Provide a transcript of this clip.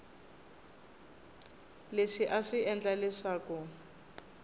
leswi a swi endla leswaku